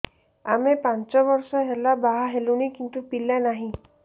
ଆମେ ପାଞ୍ଚ ବର୍ଷ ହେଲା ବାହା ହେଲୁଣି କିନ୍ତୁ ପିଲା ନାହିଁ